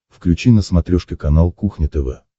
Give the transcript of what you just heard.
включи на смотрешке канал кухня тв